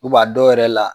a dɔw yɛrɛ la